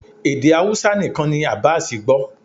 Èdè Hausa nìkan ni Abass gbó